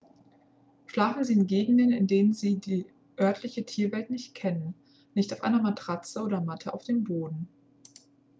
schlafen sie in gegenden in denen sie die örtliche tierwelt nicht kennen nicht auf einer matratze oder matte auf dem boden